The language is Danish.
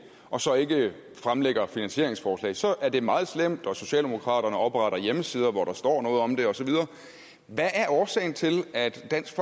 og så ikke fremlægger finansieringsforslag så er det meget slemt og socialdemokraterne opretter hjemmesider hvor der står noget om det og så videre hvad er årsagen til at dansk